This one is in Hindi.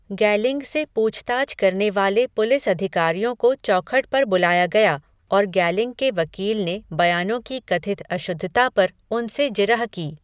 गैलिंग से पूछताछ करने वाले पुलिस अधिकारियों को चौखट पर बुलाया गया और गैलिंग के वकील ने बयानों की कथित अशुद्धता पर उनसे जिरह की।